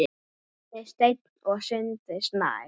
Ari Steinn og Sindri Snær.